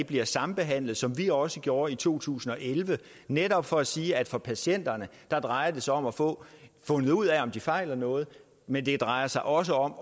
bliver sambehandlet som vi også gjorde i to tusind og elleve netop for at sige at det for patienterne drejer sig om at få fundet ud af om de fejler noget men det drejer sig også om